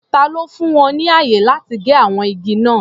Ta ló fún wọn ní ààyè láti gé àwọn igi náà?